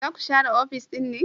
Za ku share ofis din ne?